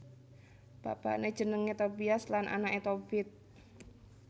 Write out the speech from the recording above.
Bapané jenengé Tobias lan anaké Tobit